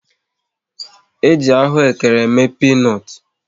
E ji ahụekere eme pinut